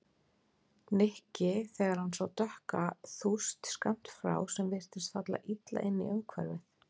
Nikki þegar hann sá dökka þúst skammt frá sem virtist falla illa inn í umhverfið.